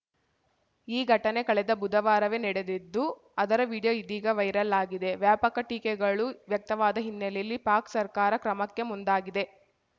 ಈ ಘಟನೆ ಕಳೆದ ಬುಧವಾರವೇ ನಡೆದಿದ್ದು ಅದರ ವಿಡಿಯೋ ಇದೀಗ ವೈರಲ್‌ ಆಗಿದೆ ವ್ಯಾಪಕ ಟೀಕೆಗಳು ವ್ಯಕ್ತವಾದ ಹಿನ್ನೆಲೆಯಲ್ಲಿ ಪಾಕ್‌ ಸರ್ಕಾರ ಕ್ರಮಕ್ಕೆ ಮುಂದಾಗಿದೆ